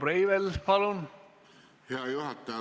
Hea juhataja!